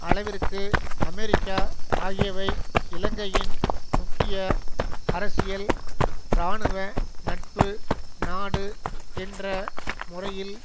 அளவிற்கு அமெரிக்கா ஆகியவை இலங்கையின் முக்கிய அரசியல் இராணுவ நட்பு நாடு என்ற முறையில்